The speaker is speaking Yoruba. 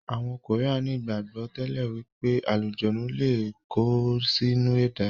Àwọn koría ní ìgbàgbọ́ tẹ́lẹ̀ wípé àlùjọ̀nnú lé kó sí inú ẹ̀dá.